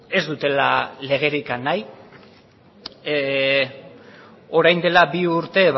ez dutela legerik nahi orain dela bi urte